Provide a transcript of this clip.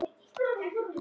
Hvað átt þú af börnum?